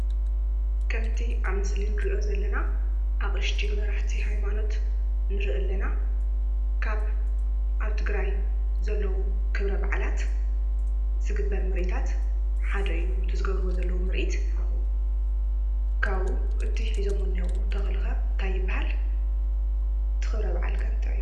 ከም እቲ ኣብ ምስሊ እንሪኦ ዘለና ኣቅሽቲ መራሕቲ ሃይማኖት ንርኢ ኣለና፡፡ ካብ ኣብ ትግራይ ዘለዉ ክብረ ባዓላት ዝግበር ምርኢታት ሓደ እዩ። እቲ ዝገብርዎ ዘሎዉ ምርኢት። ካብኡ እቲ ሒዞሞ ዝነሄዉ ተክሊ ከ እንታይ ይባሃል? እቲ ክብረ ባዓል ከ እንታይ እዩ?